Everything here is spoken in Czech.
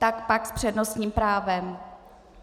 Tak pak s přednostním právem.